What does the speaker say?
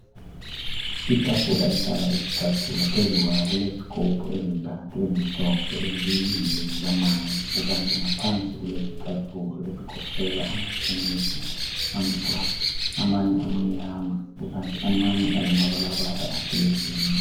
itafula ehlala izicathulo phezu kwayo kulezigubhu ezintathu ezimhlophe ezimbili zilamanzi kukanti ngaphansi kulezicathulo ezigoqela amathenisi amhlophe amanye amnyama kukanti amanye alamabala ahlukehlukeneyo